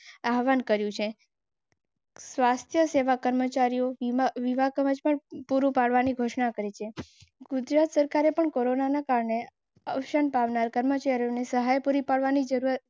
આહ્વાન કર્યું છે. સ્વાસ્થ્ય સેવા કર્મચારીઓ. પૂરું પાડવાની ઘોષણા કરી છે. ગુજરાત સરકારે પણ કોરોનાના કારણે અવસાન પામનાર કર્મચારીઓને સહાય પૂરી પાડવા.